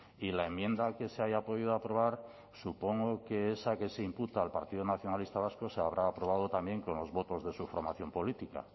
y la enmienda que se haya podido aprobar supongo que esa que se imputa al partido nacionalista vasco se habrá aprobado también con los votos de su formación política